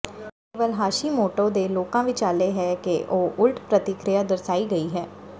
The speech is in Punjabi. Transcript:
ਇਹ ਕੇਵਲ ਹਾਸ਼ੀਮੋਟੋ ਦੇ ਲੋਕਾਂ ਵਿਚਾਲੇ ਹੈ ਕਿ ਇਹ ਉਲਟ ਪ੍ਰਤੀਕਿਰਿਆ ਦਰਸਾਈ ਗਈ ਹੈ